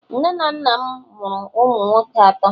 nne na nna m amuru umu nwoke ato